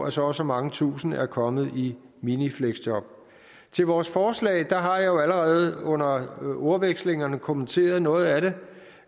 at så og så mange tusinde er kommet i minifleksjob til vores forslag har jeg jo allerede under ordvekslingerne kommenteret noget af det